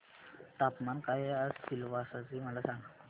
तापमान काय आहे आज सिलवासा चे मला सांगा